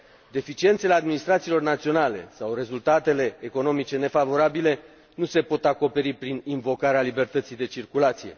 Deficiențele administrațiilor naționale sau rezultatele economice nefavorabile nu se pot acoperi prin invocarea libertății de circulație.